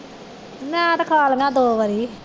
ਮੈਂ ਤੇ ਖਾ ਲਈਆਂ ਦੋ ਵਾਰੀ